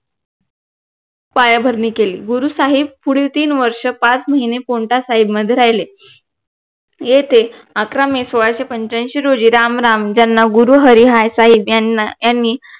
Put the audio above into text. पायाभरणी केली गुरु साहेब पुढील तीन वर्ष पाच महिने पोन्टासाहेब मध्ये राहिले येथे अकरा मे सोळाशे पंच्यांशी रोजी राम राम ज्यांना गुरु हरी यांना यांनी